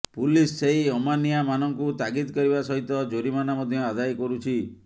police ସେହି ଅମାନିଆମାନଙ୍କୁ ତାଗିଦ କରିବା ସହିତ ଜୋରିମାନା ମଧ୍ୟ ଆଦାୟ କରୁଛି